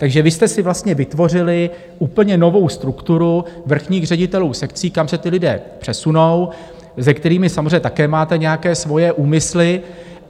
Takže vy jste si vlastně vytvořili úplně novou strukturu vrchních ředitelů sekcí, kam se ti lidé přesunou, se kterými samozřejmě také máte nějaké svoje úmysly.